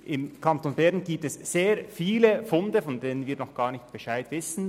Im Kanton Bern gibt es sehr viele Funde, über die wir noch nicht Bescheid wissen.